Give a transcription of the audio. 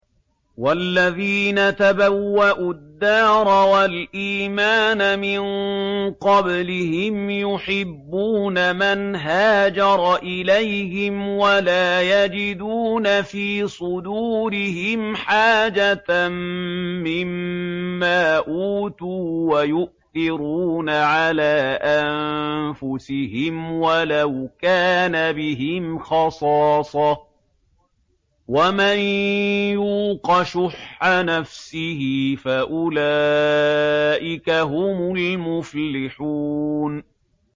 وَالَّذِينَ تَبَوَّءُوا الدَّارَ وَالْإِيمَانَ مِن قَبْلِهِمْ يُحِبُّونَ مَنْ هَاجَرَ إِلَيْهِمْ وَلَا يَجِدُونَ فِي صُدُورِهِمْ حَاجَةً مِّمَّا أُوتُوا وَيُؤْثِرُونَ عَلَىٰ أَنفُسِهِمْ وَلَوْ كَانَ بِهِمْ خَصَاصَةٌ ۚ وَمَن يُوقَ شُحَّ نَفْسِهِ فَأُولَٰئِكَ هُمُ الْمُفْلِحُونَ